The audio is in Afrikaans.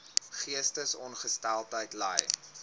geestesongesteldheid ly